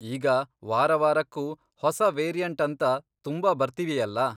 ಈಗ ವಾರವಾರಕ್ಕೂ ಹೊಸ ವೇರಿಯಂಟ್ ಅಂತಾ ತುಂಬಾ ಬರ್ತಿವೆಯಲ.